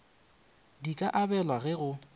di ka abelwa ge go